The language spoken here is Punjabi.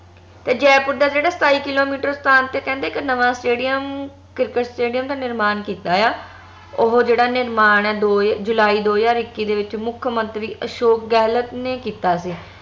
ਤੇ ਜੈਪੁਰ ਦਾ ਜੇਹੜਾ ਸਤਾਈ ਕਿੱਲੋਮੀਟਰ ਸਥਾਨ ਤੇ ਕਹਿੰਦੇ ਇਕ ਨਵਾਂ stadium ਕਿਰਕੇਟ stadium ਦਾ ਨਿਰਮਾਣ ਕੀਤਾ ਆ ਉਹ ਜੇਹੜਾ ਨਿਰਮਾਣ ਆ ਦੋ ਜੁਲਾਈ ਦੋ ਹਜਾਰ ਇੱਕੀ ਦੇ ਵਿਚ ਮੁੱਖਮੰਤਰੀ ਅਸ਼ੋਕ ਗਹਿਲੋਤ ਨੇ ਕੀਤਾ ਸੀ